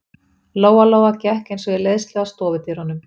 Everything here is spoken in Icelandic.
Lóa-Lóa gekk eins og í leiðslu að stofudyrunum.